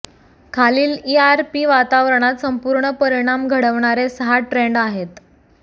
खालील ईआरपी वातावरणात संपूर्ण परिणाम घडवणारे सहा ट्रेंड आहेत